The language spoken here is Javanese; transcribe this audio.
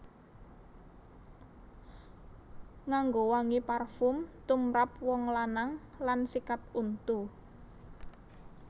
Nganggo wangi parfum tumrap wong lanang lan sikat untu